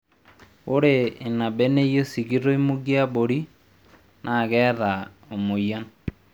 Ore ina beneyio sikitoi mugie abori naa keeta omoyian